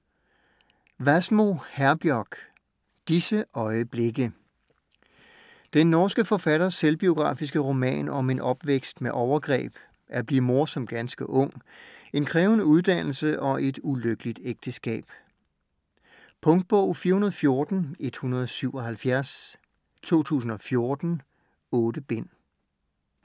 Wassmo, Herbjørg: Disse øjeblikke Den norske forfatters selvbiografiske roman om en opvækst med overgreb, at blive mor som ganske ung, en krævende uddannelse og et ulykkeligt ægteskab. Punktbog 414177 2014. 8 bind.